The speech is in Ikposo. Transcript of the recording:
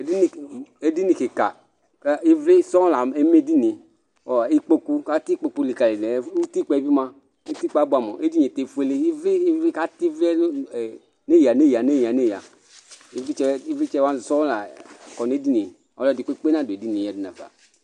Edini kika kʋ ivli sɔŋ leme ɛdinie kʋ atɛ ikpokʋ likalidʋ kʋ utikpa yɛ bi mʋa abʋeamʋ utikpa yɛ bi efuele atɛ ivli nʋ eya nʋ eya ivlitsɛ wani sɔŋ lakɔ nʋ edinie ɛkʋedi kpe kpe nadʋ edinie yadʋ nafa